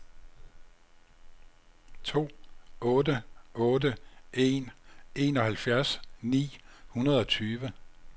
to otte otte en enoghalvfjerds ni hundrede og tyve